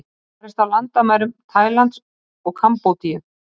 Barist á landamærum Tælands og Kambódíu